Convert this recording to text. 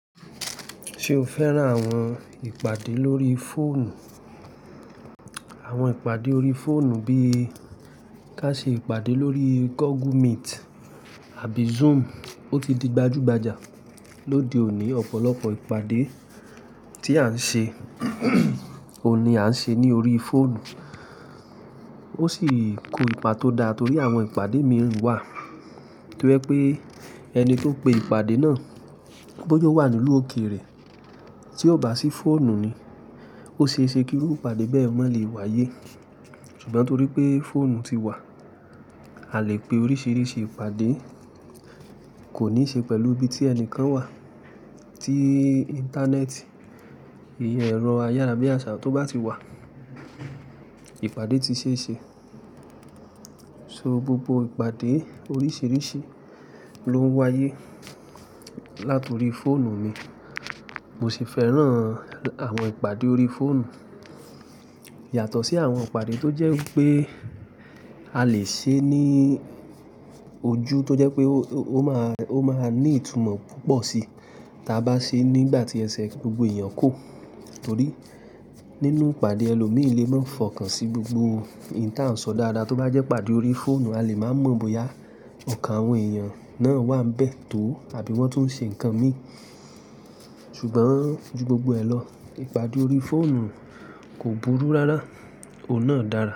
Ṣe o fẹ́ràn àwọn ìpàdé lórí fóònù? Àwọn ìpàdé orí fóònù bí ká ṣe ìpàdé lórí Google Meet àbí Zoom ó ti di gbajúgbajà. Lóde òní, ọ̀pọ̀lọpọ̀ ìpàdé tí à ń ṣe, òní à ń ṣe ní orí fóònù. Ó sì kó ipa tó dá torí àwọn ìpàdé mìíràn wà to jẹ́ pé ẹni tó pe ìpàdé náà, bóyá ó wà nínú òkè rẹ̀ tí ó bá sí fóònù ni, ó ṣe é ṣe kí ìpàdé bẹ́ẹ̀ mọ́ lè wáyé. Ṣùgbọ́n torí pé fóònù ti wà, a lè pe oríṣiríṣi ìpàdé, kò ní ṣe pẹ̀lú ibi tí ẹni kan wà. Tí Íńtánẹ́ẹ̀tì, ẹ̀rọ ayárabíàsà tó bá ti wà, ìpàdé ti ṣe é ṣe. So gbogbo ìpàdé oríṣiríṣi ló ń wáyé látorí fóònù ni. Mo sì fẹ́ràn àwọn ìpàdé orí fóònù yàtọ̀ sí àwọn ìpàdé tó jẹ́ pé a lè ṣe é ní ojú tó jẹ́ pé ó máa, ó máa ní ìtumọ̀ púpọ̀ sí ta bá ṣe é nígbà tí ẹsẹ̀ gbogbo èèyàn kò. Torí nínú ìpàdé ẹlòmíì lé mọ̀ fọkàn sí gbogbo ìta ò ń sọ dáadáa. Tó bá jẹ́ ìpàdé orí fóònù a lè máa mọ̀ bóyá ọ̀kan àwọn èèyàn náà wà bẹ́ẹ̀ tó àbí wọ́n tún ń ṣe nǹkan mi. Ṣùgbọ́n ju gbogbo ẹ lọ, ìpàdé orí fóònù kò burú rárá, òun náà dára.